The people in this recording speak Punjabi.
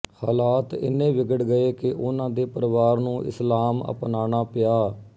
ਹਾਲਾਤ ਇਨ੍ਹੇ ਵਿਗੜ ਗਏ ਕਿ ਉਨ੍ਹਾਂ ਦੇ ਪਰਿਵਾਰ ਨੂੰ ਇਸਲਾਮ ਅਪਨਾਨਾ ਪਿਆ